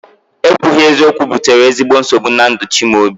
Ekwughi eziokwu butere ezigbo nsogbu na ndụ Chimaobi